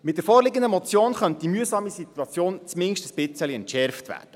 Mit der vorliegenden Motion könnte diese mühsame Situation zumindest etwas entschärft werden.